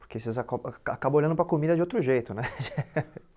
Porque vocês acobam a acabam olhando para a comida de outro jeito né.